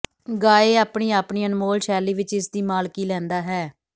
ਗਾਇ ਆਪਣੀ ਆਪਣੀ ਅਨਮੋਲ ਸ਼ੈਲੀ ਵਿਚ ਇਸ ਦੀ ਮਾਲਕੀ ਲੈਂਦਾ ਹੈ